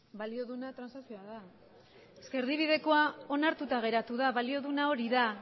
balio duena transazioa da es que erdibidekoa onartuta geratu da balio duena hori da